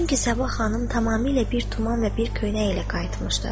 Çünki Səba xanım tamamilə bir tuman və bir köynək ilə qayıtmışdı.